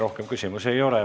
Rohkem küsimusi ei ole.